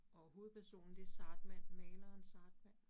Og hovedpersonen det Zahrtmann, maleren Zahrtmann